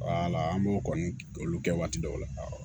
an b'o kɔni olu kɛ waati dɔw la